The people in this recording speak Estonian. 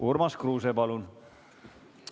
Urmas Kruuse, palun!